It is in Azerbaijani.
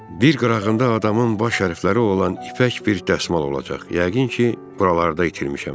Bir qırağında adamın baş hərfləri olan ipək bir dəsmal olacaq, yəqin ki, buralarda itirmişəm.